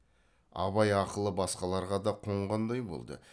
абай ақылы басқаларға да қонғандай болды